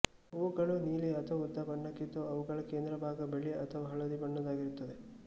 ಹೂಗಳು ನೀಲಿ ಅಥವಾ ಊದಾ ಬಣ್ಣಕ್ಕಿದ್ದು ಅವುಗಳ ಕೇಂದ್ರಭಾಗ ಬಿಳಿ ಅಥವಾ ಹಳದಿ ಬಣ್ಣದ್ದಾಗಿರುತ್ತದೆ